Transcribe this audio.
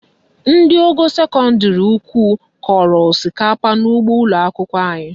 Ndị ogo sekọndịrị ukwu kọrọ osikapa n'ụgbọ ụlọakwụkwọ anyị